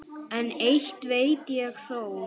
En eitt veit ég þó.